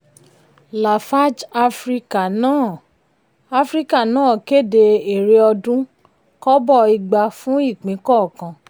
lafarge africa náà africa náà kéde èrè ọdún: kọ́bọ̀ igba fún ipín kọọkan.